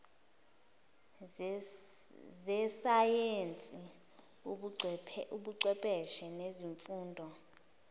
zesayensi ubuchwepheshe nezifundo